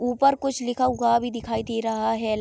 ऊपर कुछ लिखा हुआ भी दिखाई दे रहा है।